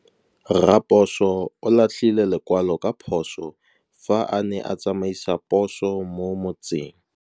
Raposo o latlhie lekwalô ka phosô fa a ne a tsamaisa poso mo motseng.